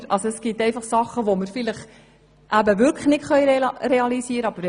Es gibt vielleicht Dinge, die wir wirklich nicht realisieren können.